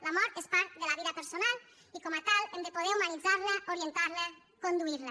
la mort és part de la vida personal i com a tal hem de poder humanitzar la orientar la conduir la